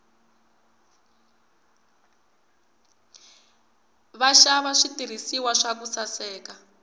vaxava switirhiswa swa ku saseka